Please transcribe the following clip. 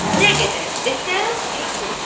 Nə qədər desən, kasıbdır.